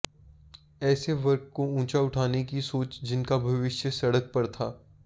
ऐसे वर्ग को ऊंचा उठाने की सोच जिनका भविष्य सड़क पर था